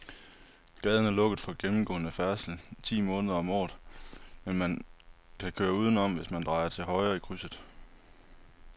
Gaden er lukket for gennemgående færdsel ti måneder om året, men man kan køre udenom, hvis man drejer til højre i krydset.